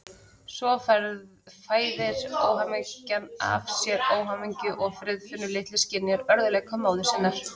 Svo fæðir óhamingjan af sér óhamingju og Friðfinnur litli skynjar örðugleika móður sinnar.